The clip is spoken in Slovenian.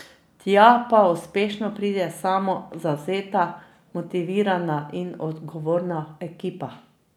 Tja pa uspešno pride samo zavzeta, motivirana in odgovorna ekipa.